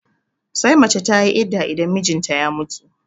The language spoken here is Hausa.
Sai mace tayi idda idan mijinta ya mutu